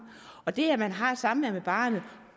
og det at man har samvær med barnet